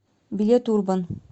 билет урбан